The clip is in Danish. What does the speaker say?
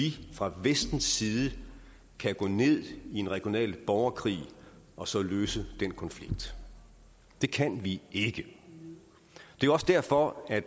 vi fra vestens side kan gå ned i en regional borgerkrig og så løse den konflikt det kan vi ikke det er også derfor at